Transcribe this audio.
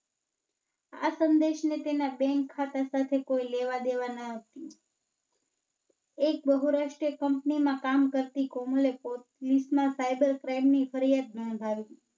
આ સંદેશ ને તેના Bank ખાતા સાથે કોઈ લેવા-દેવા ન હતી. એક બહુરાષ્ટ્રીય Company માં કામ કરતી કોમલ એ Police માં Cyber Crime ની ફરિયાદ નોંધાવી.